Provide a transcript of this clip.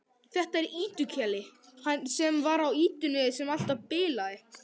Þetta er Ýtu-Keli, sem var á ýtunni sem alltaf bilaði.